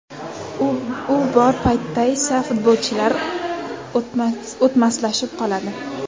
U bor paytda esa futbolchilar o‘tmaslashib qoladi.